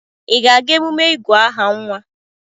ị ga-aga emume ịgụ aha nwa?